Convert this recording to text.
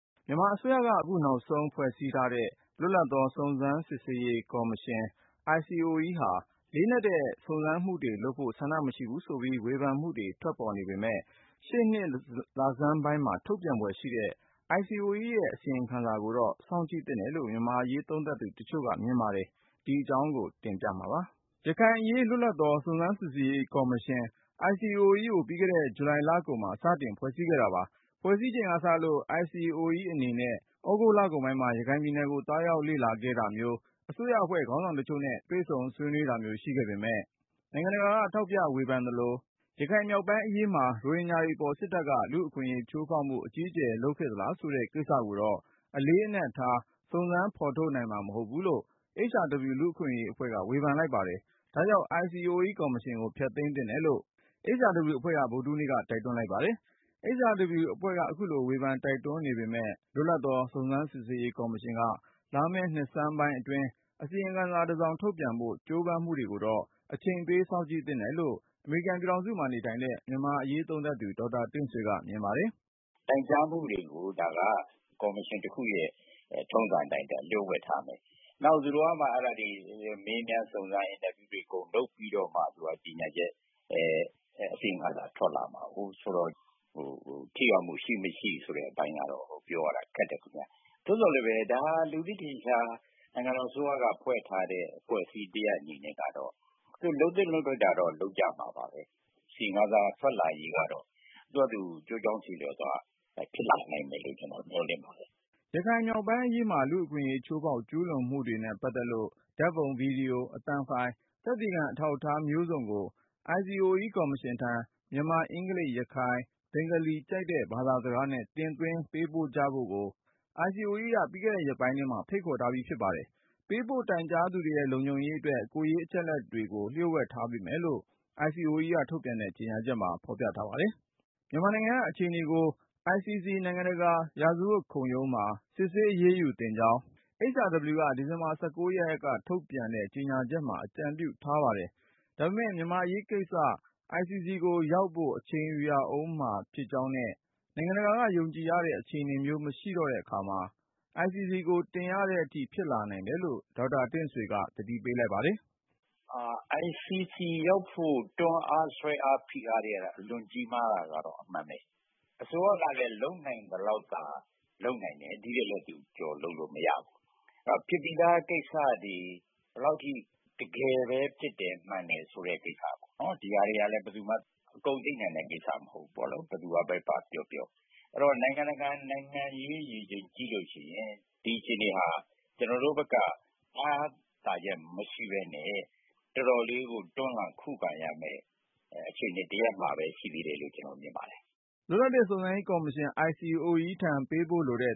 မြန်မာအစိုးရက အခုနောက်ဆုံး ဖွဲ့စည်းထားတဲ့ လွတ်လပ်သော စုံစမ်းစစ်ဆေးရေးကော်မရှင် ICOE ဟာ လေးနက်တဲ့ စုံစမ်းမှုတွေလုပ်ဖို့ ဆန္ဒ မရှိဘူးဆိုပြီး ဝေဖန်မှုတွေ ထွက်နေပေမယ့် ရှေ့နှစ် လဆန်းပိုင်းမှာ ထုတ်ပြန်ဖွယ်ရှိတဲ့ ICOE ရဲ့အစီရင်ခံစာကိုတော့ စောင့်ကြည့်သင့်တယ်လို့ မြန်မာ့အရေး သုံးသပ်သူတချို့က မြင်ပါတယ်။ ကိုဉာဏ်ဝင်းအောင်က တင်ပြမှာပါ။ ရခိုင်အရေး လွတ်လပ်သော စုံစမ်းစစ်ဆေးရေးကော်မရှင် ICOE ကို ပြီးခဲ့တဲ့ ဂျူလိုင်လကုန်မှာ စတင်ဖွဲ့စည်းခဲ့တာပါ။ ဖွဲ့စည်းချိန်ကစလို့ ICOE အနေနဲ့ သြဂုတ်လကုန်ပိုင်းမှာ ရခိုင်ပြည်နယ်ကို သွားရောက်လေ့လာခဲ့တာမျိုး ၊ အစိုးရအဖွဲ့ ခေါင်းဆောင်တချို့နဲ့ တွေ့ဆုံ ဆွေးနွေးတာမျိုး ရှိခဲ့ပေမယ့် ၊ နိုင်ငံတကာက ဝေဖန်ထောက်ပြသလို ရခိုင်မြောက်ပိုင်းအရေးမှာ ရိုဟင်ဂျာတွေအပေါ် စစ်တပ်က လူအခွင့်အရေးချိုးဖေါက်မှု အကြီးအကျယ် လုပ်ခဲ့သလားဆိုတဲ့ ကိစ္စကိုတော့ အလေးအနက်ထား စုံစမ်းဖေါ်ထုတ်နိုင်မှာ မဟုတ်ဘူးလို့ HRW လူ့အခွင့်အရေးအဖွဲ့က ဝေဖန်လိုက်ပါတယ်။ ဒါ့အပြင် ICOE ကော်မရှင်ကို ဖျက်သိမ်းသင့်တယ်လို့ HRW အဖွဲ့က ဗုဒ္ဓဟူးနေ့က တိုက်တွန်းလိုက်ပါတယ်။ HRW အဖွဲ့က အခုလိုဝေဖန် တိုက်တွန်းနေပေမယ့် လွတ်လပ်သော စုံစမ်းစစ်ဆေးရေးကော်မရှင်က လာမယ့်နှစ်ဆန်းပိုင်းအတွင်း အစီရင်ခံ တစောင် ထုတ်ပြန်ဖို့ ကြိုးပမ်းမှုတွေကိုတော့ အချိန်ပေး စောင့်ကြည့်သင့်တယ်လို့ အမေရိကန်ပြည်ထောင်စုမှာနေတဲ့ မြန်မာ့အရေးသုံးသပ်သူ ဒေါက်တာ တင့်ဆွေက မြင်ပါတယ်။ "တိုင်ကြားမှုတွေကို ဒါက ကော်မရှင်တခုရဲ့ ထုံးစံအတိုင်း လျို့ဝှက်ထားမယ်။ နောက် သူတို့က အဲဒါကို မေးမြန်းစုံစမ်းမူတွေလုပ်ပြီးတော့မှ ကြေညာချက် အစီရင်ခံစာ ထွက်လာမှာဆိုတော့ ထိရောက်မှုရှိမရှိဆိုတဲ့အပိုင်းကတော့ ပြောရတာခက်တယ်ခင်ဗျ။ သို့သော်လည်းပဲ ဒါက လူသိထင်ရှားနိုင်ငံတော်အစိုးရက ဖွဲ့ထားတဲ့ အဖွဲ့အစည်း တရပ်အနေနဲ့ကတော့ သူလုပ်သင့်လုပ်ထိုက်တာကတော့ လုပ်ကြမှာပါပဲ အစီရင်ခံစာထွက်လာရေးကတော့ သူ့ဟာသူအကျိုးအကြောင်းဆီလျော်စွာ ဖြစ်လာမယ်လို့တော့ ကျနော်မျှော်လင့်ပါတယ်။" ရခိုင်မြောက်ပိုင်းအရေးမှာ လူ့အခွင့်အရေး ဖေါက်ဖျက်ကျူးလွန်မှုတွေနဲ့ ပတ်သက်လို့ ဓါတ်ပုံ၊ ဗွီဒီယို၊ အသံဖိုင် သက်သေခံအထောက်အထား မျိုးစုံကို ICOE ကော်မရှင်ထံ မြန်မာ၊ အင်္ဂလိပ်၊ ရခိုင်၊ ဘင်္ဂလီ ကြိုက်တဲ့ ဘာသာစကားနဲ့ တင်သွင်းပေးဖို့ကြဖို့ ICOE က ပြီးခဲ့တဲ့ရက်ပိုင်းထဲမှာ ဖိတ်ခေါ်ထားပြီး ဖြစ်ပါတယ်။ ပေးပို့တိုင်ကြားသူတွေရဲ့ လုံခြုံရေးအတွက် ကိုယ်ရေးအချက်အလက်တွေကို လျှို့ဝှက်ပေးထားမယ်ဆို့ ICOE က ထုတ်ပြန်တဲ့ ကြေညာချက်မှာ ဖေါ်ပြထားပါတယ်။ မြန်မာနိုင်ငံက အခြေအနေတွေဟာ ICC နိုင်ငံတကာ ရာဇဝတ်ခုံရုံးမှာသာ စစ်ဆေး အရေးယူသင့်ကြောင်း HRW က ဒီဇင်ဘာလ ရက် ထုတ်ပြန်ချက်မှာ အကြံပြုထားပါတယ်။ ဒါပေမဲ့ မြန်မာ့အရေးကိစ္စ ICC ကိုရောက်ဖို့ အချိန်ယူရဦးမှာ ဖြစ်ကြောင်းနဲ့ နိုင်ငံတကာက ယုံကြည်ရတဲ့ အခြေအနေမျိုး မရှိတော့တဲ့အခါ ICC ကိုတင်ရတဲ့အထိ ဖြစ်လာနိုင်တယ်လို့ ဒေါက်တာ တင့်ဆွေက သတိပေးပါတယ်။ "ICC ရောက်ဖို့ကတော့ တွန်းအားဖိအားဆွဲအားတွေကတော့ အလွှန်ကြီးမားတာကတော့ အမှန်ပဲ ၊ အစိုးရကလည်း လုပ်နိုင်သလောက်သာ လုပ်နိုင်တယ်။ ဒီထက်လည်းသူကျော်လုပ်လို့မရဘူး။ အဲဒီတော့ ဖြစ်ပြီးသားကိစ္စတွေ ဘယ်လောက်အထိ တကယ်ပဲ ဖြစ်တယ်၊ မှန်တယ်ဆိုတဲ့ ကိစ္စပေါ့ ဒီဟာတွေကလည်း ဘယ်သူမှ အကုန်သိနိုင်တဲ့ကိစ္စမဟုတ်ဘူးပေါ့နော် ဘယ်သူကပဲ ဘာပြောပြော။ အဲဒီတော့ နိုင်ငံတကာ နိုင်ငံရေးရေချိန်ကြည့်ရင် ဒီအခြေအနေဟာ ကျနော်တို့ဘက်က အားသာချက်မရှိပဲနဲ့ တော်တော်လေးကို တွန်းလှန်ခုခံရမယ့် အခြေအနေတရပ်မှာပဲရှိသေးတယ်လို့ ကျနော်မြင်ပါတယ်။" လွတ်လပ်သော စုံစမ်းစစ်ဆေးရေးကော်မရှင် ICOE ထံ ပေးပို့လိုတဲ့